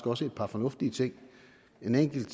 også et par fornuftige ting en enkelt